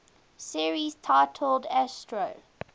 series titled astro